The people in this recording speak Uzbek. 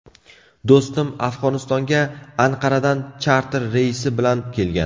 Do‘stim Afg‘onistonga Anqaradan charter reysi bilan kelgan.